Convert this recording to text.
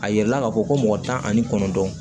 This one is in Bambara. A yɛlɛla k'a fɔ ko mɔgɔ tan ani kɔnɔntɔn